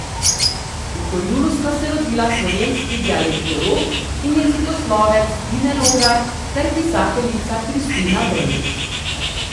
V Horjulu sta se rodila slovenski dialektolog in jezikoslovec Tine Logar ter pisateljica Kristina Brenk.